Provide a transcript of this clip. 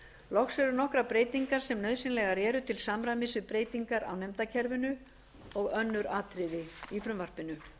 loks eru nokkrar breytingar sem nauðsynlegar eru til samræmis við breytingar á nefndakerfinu og önnur atriði í frumvarpinu